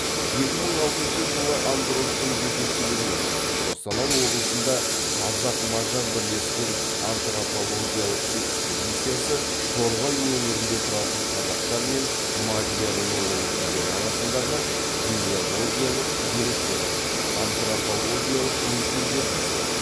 екі мың алтыншы жылы андроштың жетекшілігімен қостанай облысында қазақ мажар бірлескен антропологиялық экспедициясы торғай өңірінде тұратын қазақтар мен мадияр руы өкілдері арасындағы генеологиялық деректер антропологиялық өлшемдер жасалады